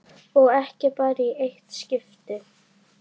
Og ekki bara í eitt skipti.